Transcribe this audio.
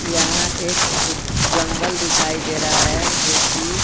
यहाँ एक फुट जंगल दिखाई दे रहा हैजो कि--